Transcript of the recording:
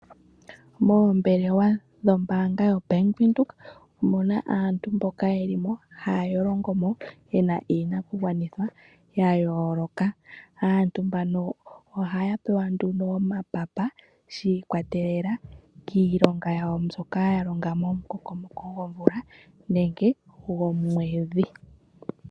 Moombelewa dhombaanga yoBank Windhoek omuna aantu mboka yeli mo, haya longo mo yena iinakugwanithwa ya yooloka. Aantu mbano ohaya pewa nduno omapapa shiikwatelela kiilonga yawo mbyoka ya longa momukokomoko gomvula nenge gomwedhi.